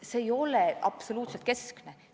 See ei ole üldse mitte keskne eesmärk.